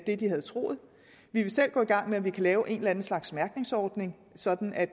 det de havde troet vi vil selv gå i gang med at vi kan lave en eller anden slags mærkningsordning sådan at